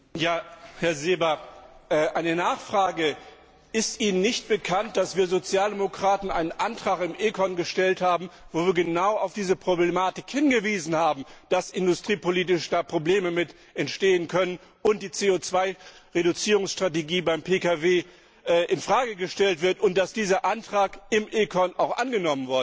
Herr Seeber, eine Nachfrage Ist Ihnen nicht bekannt, dass wir Sozialdemokraten einen Antrag im ECON gestellt haben, in dem wir genau auf diese Problematik hingewiesen haben nämlich, dass hier industriepolitische Probleme entstehen können und die CO Reduzierungsstrategie beim Pkw in Frage gestellt wird und dass dieser Antrag im ECON auch angenommen worden ist?